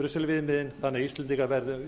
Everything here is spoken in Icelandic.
brusselviðmiðin þannig að